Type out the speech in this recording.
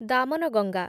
Damanganga